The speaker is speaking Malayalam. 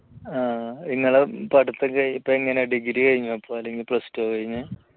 നിങ്ങള് പഠിത്തം കഴിഞ്ഞ് ഇപ്പൊ എങ്ങനെ degree കഴിഞ്ഞോ ഇപ്പോ അല്ലെങ്കിൽ plus two കഴിഞ്ഞോ?